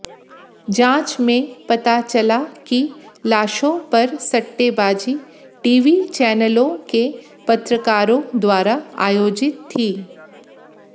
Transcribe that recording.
जांच में पता चला कि लाशों पर सट्टेबाजी टीवी चैनलों के पत्रकारों द्वारा आयोजित थी